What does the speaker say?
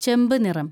ചെമ്പ് നിറം